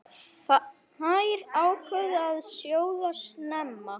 Þær ákváðu að sjóða snemma.